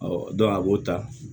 a b'o ta